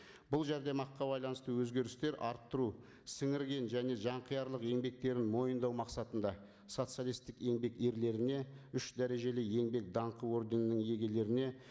бұл жәрдемақыға байланысты өзгерістер арттыру сіңірген және жанқиярлық еңбектерін мойындау мақсатында социалисттік еңбек ерлеріне үш дәрежелі еңбек даңқы орденінің иегерлеріне